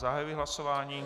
Zahajuji hlasování.